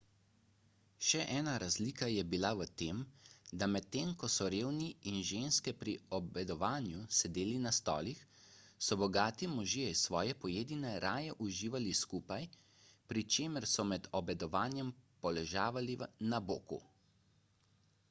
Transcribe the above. še ena razlika je bila v tem da medtem ko so revni in ženske pri obedovanju sedeli na stolih so bogati možje svoje pojedine raje uživali skupaj pri čemer so med obedovanjem poležavali na boku